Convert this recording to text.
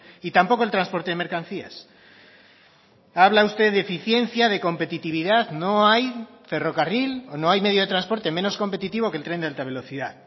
y tampoco el transporte de mercancías habla usted de eficiencia de competitividad no hay ferrocarril o no hay medio de transporte menos competitivo que el tren de alta velocidad